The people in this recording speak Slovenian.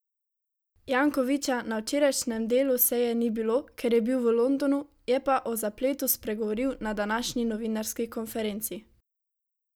Jankovića na včerajšnjem delu seje ni bilo, ker je bil v Londonu, je pa o zapletu spregovoril na današnji novinarski konferenci.